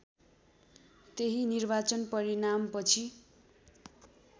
त्यही निर्वाचन परिणामपछि